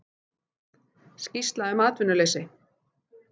Skýrsla um atvinnuleysi